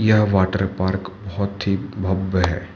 यह water park बहोत ही भव्य है।